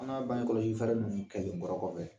An kan bangekɔlɔsifɛɛrɛ ninnu kɛlenkɔrɔ kɔfɛ